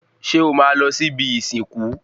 Ṣé o máa lọ sí ibi ìsìnkú